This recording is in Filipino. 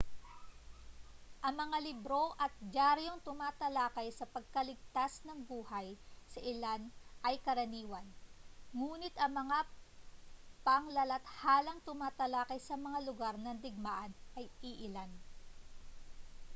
ang mga libro at diyaryong tumatalakay sa pagkaligtas ng buhay sa ilang ay karaniwan ngunit ang mga paglalathalang tumatalakay sa mga lugar ng digmaan ay iilan